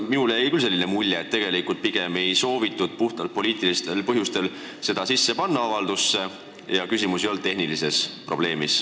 Minule jäi küll mulje, et pigem ei soovitud puhtalt poliitilistel põhjustel seda avaldusse sisse panna ja küsimus ei olnud tehnilises probleemis.